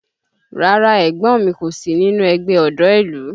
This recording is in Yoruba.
Rárá ẹ̀gbọ́n mi kò sí nínú ẹgbẹ́ ọ̀dọ́ ìlú